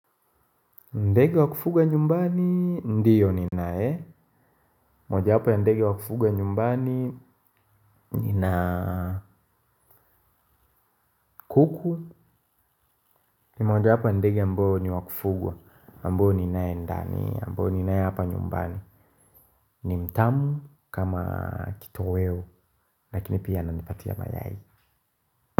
Ndege wa kufuga nyumbani, ndio ninaye. Mojawapo ya ndege wa kufuga nyumbani, nina kuku. Ni mojawapo ya ndege ambo ni wa kufugwa, ambao ninaye ndani, ambao ninaye hapa nyumbani. Ni mtamu kama kitoweo, lakini pia ananipatia mayai.